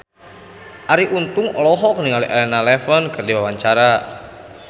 Arie Untung olohok ningali Elena Levon keur diwawancara